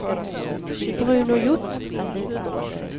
Bruno Hjort